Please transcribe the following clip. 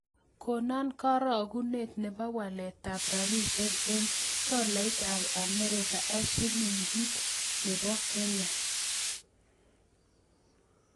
Konon karogunet ne po waletap rabisiek eng' tolaitap amerika ak silingit ne po Kenya